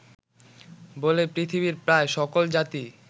বলে পৃথিবীর প্রায় সকল জাতিই